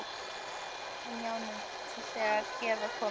Við lágum á hnjánum þegar hér var komið.